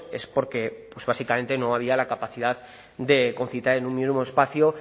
es porque básicamente no había la capacidad de concitar en un mismo espacio